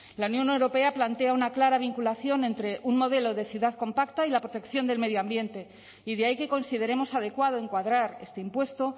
la unión europea plantea una clara vinculación entre un modelo de ciudad compacta y la protección del medio ambiente y de ahí que consideremos adecuado encuadrar este impuesto